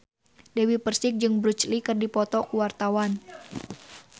Dewi Persik jeung Bruce Lee keur dipoto ku wartawan